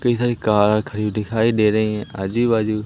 इधर कार खड़ी दिखाई दे रही है आजू बाजू--